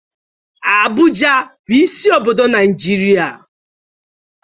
Abụja bụ isi obodo Naịjirịa.